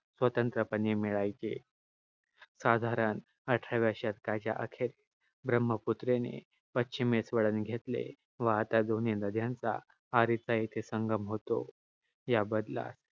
स्वतंत्रपणे मिळायची. साधारण अठराव्या शतकाच्या अखेरीस, ब्रह्मपुत्रेने पश्चिमेस वळण घेतले. आता दोन्ही नद्यांचा येथे संगम होतो. या बदलास